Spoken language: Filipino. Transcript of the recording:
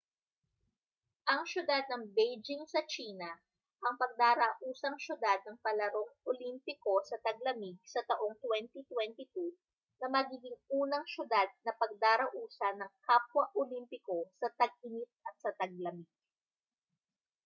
ang siyudad ng beijing sa tsina ang pagdarausang siyudad ng palarong olimpiko sa taglamig sa taong 2022 na magiging unang siyudad na pagdarausan ng kapwa olimpiko sa tag-init at sa taglamig